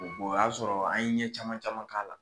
o y'a sɔrɔ an ye ɲɛ caman caman k'a la